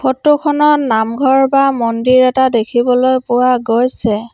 Photo খনত নামঘৰ বা মন্দিৰ এটা দেখিবলৈ পোৱা গৈছে।